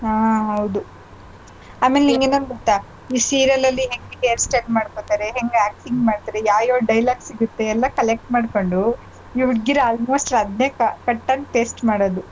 ಹಾ ಹೌದು. ಆಮೇಲ್ ನಿಂಗ್ ಇನ್ನೊಂದ್ ಗೊತ್ತಾ ಈ serial ಅಲ್ಲಿ ಹೆಂಗೆ hair style ಮಾಡ್ಕೊಳ್ತಾರೆ ಹೆಂಗೆ acting ಮಾಡ್ತಾರೆ ಯಾವ್ ಯಾವ್ dialogue ಸಿಗುತ್ತೆ ಎಲ್ಲಾ collect ಮಾಡ್ಕೊಂಡು ಈ ಹುಡ್ಗಿರ್ almost ಅದನ್ನೇ cut and paste ಮಾಡೋದು.